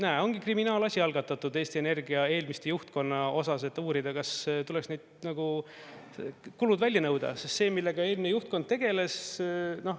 Näe, ongi kriminaalasi algatatud Eesti Energia eelmise juhtkonna osas, et uurida, kas tuleks neilt kulud välja nõuda, sest see, millega eelmine juhtkond tegeles …